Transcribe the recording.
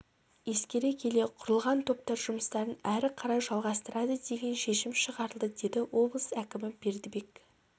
ескере келе құрылған топтар жұмыстарын әрі қалай жалғастырады деген шешім шығарылды деді облыс әкімі бердібек